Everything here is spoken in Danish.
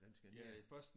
Den skal ned